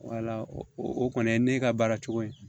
o kɔni ye ne ka baara cogo ye